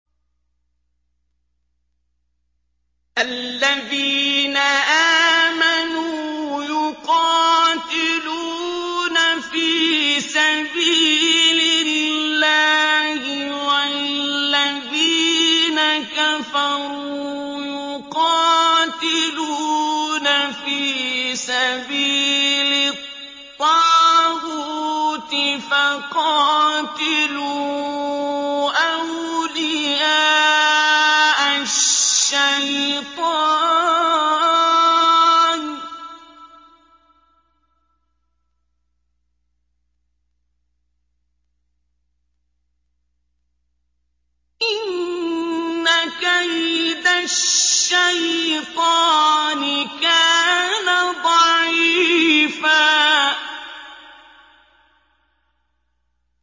الَّذِينَ آمَنُوا يُقَاتِلُونَ فِي سَبِيلِ اللَّهِ ۖ وَالَّذِينَ كَفَرُوا يُقَاتِلُونَ فِي سَبِيلِ الطَّاغُوتِ فَقَاتِلُوا أَوْلِيَاءَ الشَّيْطَانِ ۖ إِنَّ كَيْدَ الشَّيْطَانِ كَانَ ضَعِيفًا